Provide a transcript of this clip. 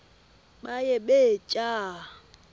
baye bee tyaa